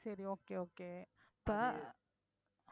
சரி okay okay இப்ப